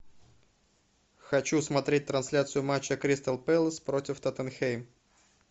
хочу смотреть трансляцию матча кристал пэлас против тоттенхэм